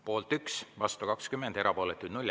Poolt 1, vastu 20, erapooletuid 0.